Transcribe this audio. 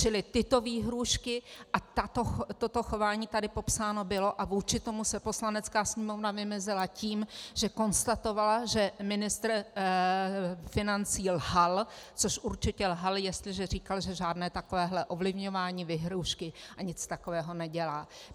Čili tyto výhrůžky a toto chování tady popsáno bylo a vůči tomu se Poslanecká sněmovna vymezila tím, že konstatovala, že ministr financí lhal, což určitě lhal, jestliže říkal, že žádné takovéhle ovlivňování, výhrůžky a nic takového nedělá.